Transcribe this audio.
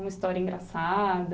Uma história engraçada?